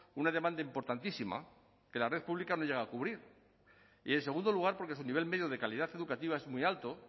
una demanda importantísima que la red pública no llega a cubrir y en segundo lugar porque su nivel medio de calidad educativa es muy alto